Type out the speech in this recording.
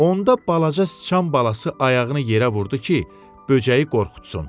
Onda balaca sıçan balası ayağını yerə vurdu ki, böcəyi qorxutsun.